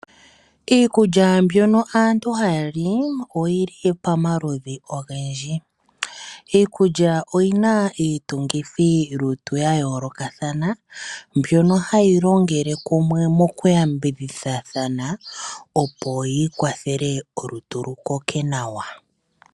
Iikulya mbyono aantu haa li, oyi li pamaludhi ogendji. Iikulya oyi na iitungithilutu ya yoolokathana, mbyono hayi longele kumwe mokuyambidhidha opo yi kwathele olutu lu koke nawa.